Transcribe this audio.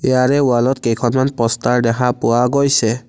ইয়াৰে ৱালত কেইখনমান প'ষ্টাৰ দেখা পোৱা গৈছে।